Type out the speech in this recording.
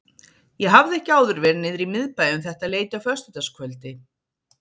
Ég hafði ekki áður verið niðri í miðbæ um þetta leyti á föstudagskvöldi.